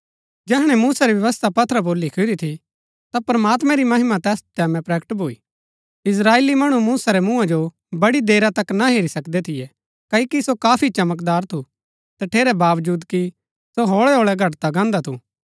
जैहणै मूसा री व्यवस्था पत्थरा पुर लिखुरी थी ता प्रमात्मैं री महिमा तैस टैमैं प्रकट भूई इस्त्राएली मणु मूसा रै मुँहा जो बड़ी देरा तक ना हेरी सकदै थियै क्ओकि सो काफी चमकदार थू तठेरै बावजूद कि सो होळैहोळै घटदा गान्दा थू